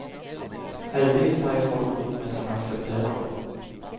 Heldigvis har jeg folk rundt meg som aksepterer det.